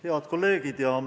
Head kolleegid!